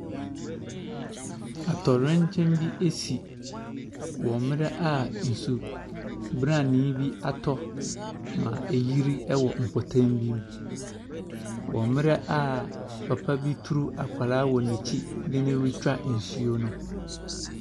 Atɔwrɛnkyɛm bi ɛsi wɔ mmrɛ a nsu branee bi atɔ ma ɛgyiri ɛwɔ mpɔtam bi wɔ mmrɛ a papa bi turu akwadaa wɔ nɛkyi de nee retwa nsuo no.